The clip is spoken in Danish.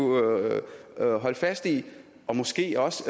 holde fast i og måske også